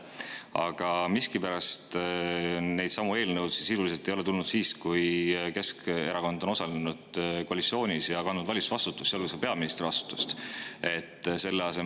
Aga miskipärast neidsamu eelnõusid ei ole sisuliselt tulnud siis, kui Keskerakond on osalenud koalitsioonis ja kandnud valitsusvastutust, sealhulgas olnud peaministri.